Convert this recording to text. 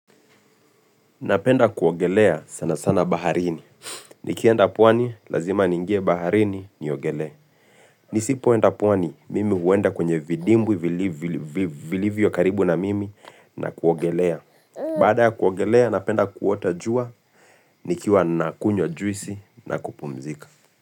Napenda kuogelea sana sana baharini. Nikienda pwani, lazima ningie baharini niogelea. Nisi poenda pwani, mimi huenda kwenye vidimbwi vilivyo karibu na mimi na kuogelea. Baada ya kuogelea, napenda kuota jua, nikiwa na kunywa juisi na kupumzika.